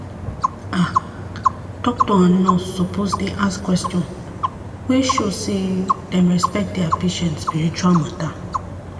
ah doctor and nurse suppose dey ask question wey show sey dem respect dia patient spiritual matter.